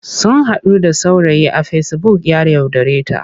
Sun haɗu da saurayi a fesibuk ya yaudareta.